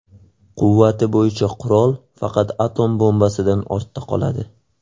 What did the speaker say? Quvvati bo‘yicha qurol faqat atom bombasidan ortda qoladi.